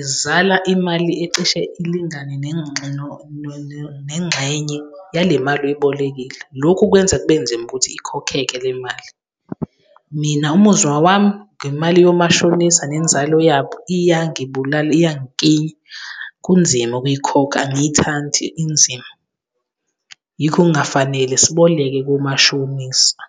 izala imali ecishe ilingane nengxenye nengxenye yale mali oyibolekile. Lokhu kwenza kube nzima ukuthi ikhokeke le mali. Mina umuzwa wami ngemali yomashonisa nenzalo yabo, iyangibulala, iyangiklinya. Kunzima ukuyikhokha, angiyithandi, inzima. Yikho kungafanele siboleke komashonisa.